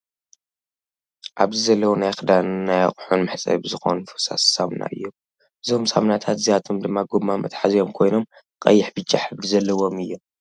ኣብዚ ዘለው ናይ ክዳንን ናይ ኣቁሑን መሕፀቢ ዝኮኑ ፈሳሲ ሳምና እዮም። እዞም ሳምናታት እዚኣቶም ድማ ጎማ መትሓዚኦም ኮይኖም ቀይሕ ፣ብጫ ሕብሪ ዘለዎም እዮም።